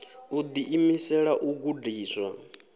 u ḓi imisela u gudiswa